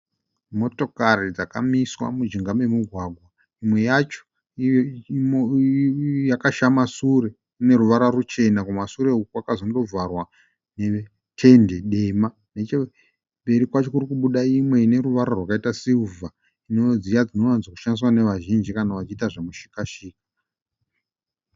Motokari dzakamiswa mujinga memugwagwa. Imwe yacho yakashama shure ine ruvara ruchena kumashure uku kwakazondovharwa netende dema. Nechemberi kwacho kuri kubuda imwe ine ruvara rwakaita sirivha, dziya dzinowanzoshandiswa nevazhinj kana vachiita zvemushika- shika.